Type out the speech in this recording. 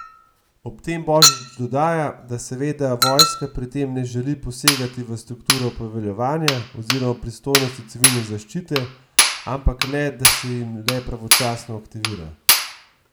Ob tem Božič dodaja, da seveda vojska pri tem ne želi posegati v strukturo poveljevanja oziroma pristojnosti civilne zaščite, ampak le, da se jih le pravočasno aktivira.